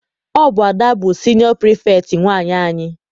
Ọ bụ Ada bụ siniọ Pirifetktị nwaanyị anyị.